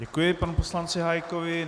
Děkuji panu poslanci Hájkovi.